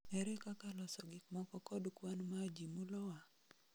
Ere kaka loso gikmoko kod kwan ma ji mulowa?